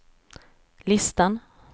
listan